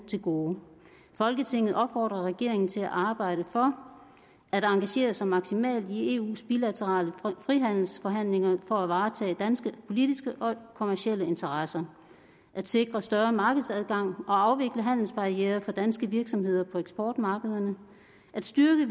til gode folketinget opfordrer regeringen til at arbejde for at engagere sig maksimalt i eus bilaterale frihandelsforhandlinger for at varetage danske politiske og kommercielle interesser at sikre større markedsadgang og afvikle handelsbarrierer for danske virksomheder på eksportmarkederne at styrke